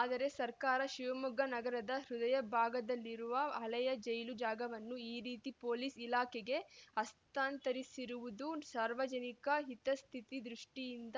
ಆದರೆ ಸರ್ಕಾರ ಶಿವಮೊಗ್ಗ ನಗರದ ಹೃದಯ ಭಾಗದಲ್ಲಿರುವ ಹಳೆಯ ಜೈಲು ಜಾಗವನ್ನು ಈ ರೀತಿ ಪೋಲಿಸ್‌ ಇಲಾಖೆಗೆ ಹಸ್ತಾಂತರಿಸಿರುವುದು ಸಾರ್ವಜನಿಕ ಹಿತಾಸ್ಥಿತಿ ದೃಷ್ಟಿಯಿಂದ